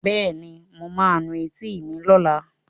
Bẹ́ẹ̀ni, mo ma nu etí mi lọ́la